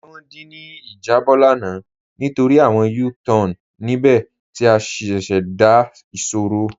A ní wọn dí ní ijàbọ̀ lána nítorí awọn U-Tan níbẹ̀ ti a ṣíṣẹ́dá ìṣòro.